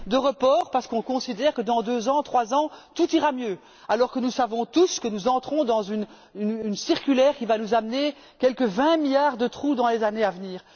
de report, parce que nous considérons que dans deux ans, trois ans, tout ira mieux, alors que nous savons tous que nous entrons dans une spirale qui va nous amener quelque vingt milliards de trou dans les années à venir.